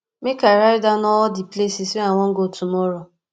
make i write down all di places wey i wan go tomorrow